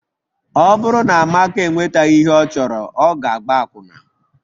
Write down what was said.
Ọ bụrụ na Amaka enwetaghị ihe ọ chọrọ, ọ ga-agba akwụna